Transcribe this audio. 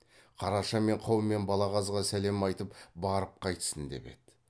қараша мен қаумен балағазға сәлем айтып барып қайтсын деп еді